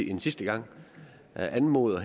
en sidste gang anmode